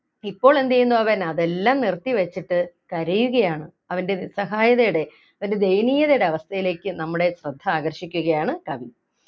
ഇപ്പോൾ എന്ത് ചെയ്യുന്നു അവൻ അതെല്ലാം നിർത്തിവെച്ചിട്ട് കരയുകയാണ് അവൻ്റെ നിസ്സഹായതയുടെ അവന്റെ ദയനീയതയുടെ അവസ്ഥയിലേക്ക് നമ്മുടെ ശ്രദ്ധ ആകർഷിക്കുകയാണ് കവി